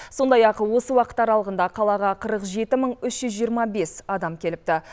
сондай ақ осы уақыт аралығында қалаға қырық жеті мың үш жүз жиырма бес адам келіпті